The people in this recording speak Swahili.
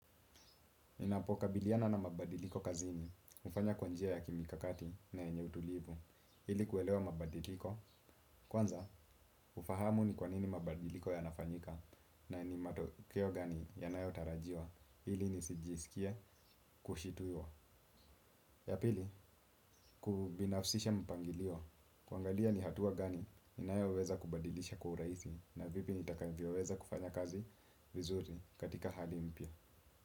Ninapokabiliana na mabadiliko kazini, hufanya kwa njia ya kimikakati na yenye utulivu, ili kuelewa mabadiliko, kwanza hufahamu ni kwanini mabadiliko yanafanyika na ni matokeo gani yanayotarajiwa, ili nisijisikie kushituwa. Ya pili, kubinafsisha mipangilio, kuangalia ni hatua gani ninayoweza kubadilisha kwa urahisi na vipi nitakavyo weza kufanya kazi vizuri katika hali mpya.